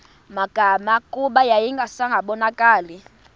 magama kuba yayingasabonakali